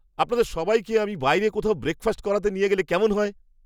আপনাদের সবাইকে আমি বাইরে কোথাও ব্রেকফাস্ট করাতে নিয়ে গেলে কেমন হয়?